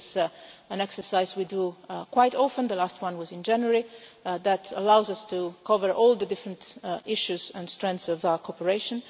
This is an exercise that we do quite often, the last one was in January, and it allows us to cover all the different issues and strengths of our cooperation.